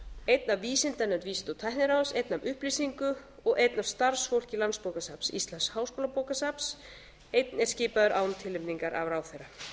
einn af vísindanefnd vísinda og tækniráðs einn af upplýsingu og einn af starfsfólki landsbókasafns íslands háskólabókasafns einn er skipaður án tilnefningar af ráðherra mig